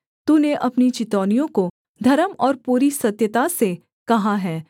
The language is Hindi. तूने अपनी चितौनियों को धर्म और पूरी सत्यता से कहा है